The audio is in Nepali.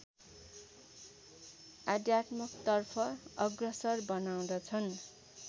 आध्यात्मतर्फ अग्रसर बनाउँदछन्